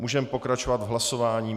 Můžeme pokračovat v hlasování.